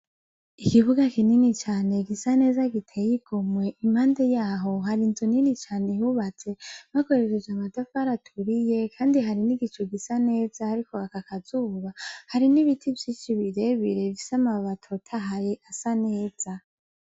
Ikibuga kinini cane gisa neza giteye igomwe impande yaho hari inzu nini cane yubatse bakoresheje amatafari aturiye Kandi hari n'igicu gisa neza hariko haka akazuba, hari n'ibiti vyinshi birebire bifise amababi atotahaye asaneza.